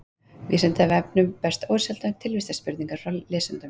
Vísindavefnum berast ósjaldan tilvistarspurningar frá lesendum.